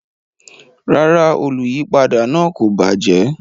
Rara, oluyipada naa ko bajẹ